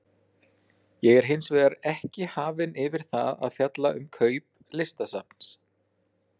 Ég er hins vegar ekki hafinn yfir það að fjalla um kaup Listasafns